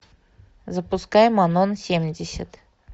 запускай манон семьдесят